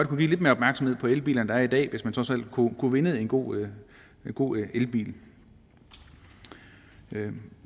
kunne give lidt mere opmærksomhed på elbilerne er i dag hvis man trods alt kunne vinde en god god elbil vi